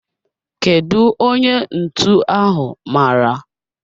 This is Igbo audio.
Kedu onye ntụ ahu mara?